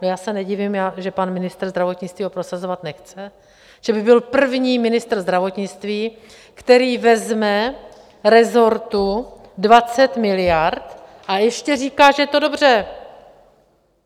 No já se nedivím, že pan ministr zdravotnictví ho prosazovat nechce, že by byl první ministr zdravotnictví, který vezme resortu 20 miliard a ještě říká, že je to dobře!